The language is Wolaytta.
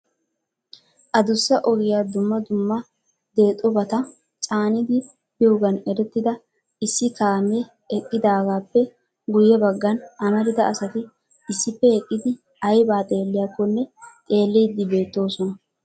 Addussa ogiyaa dumma dumma deexxobata caanidi biyoogan erettida issi kaame eqqidaagappe guyye baggan amarida asati issippe eqqidi aybba xeelliyakkonne xeellide beettoosona.